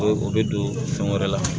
O bɛ don fɛn wɛrɛ la